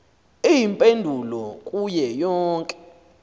iimpendulo kuyo yonke